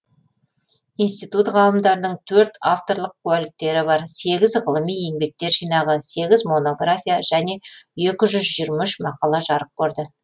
институт ғалымдарының төрт авторлық куәліктері бар сегіз ғылыми еңбектер жинағы сегіз монография және екі жүз жиырма үш мақала жарық көрді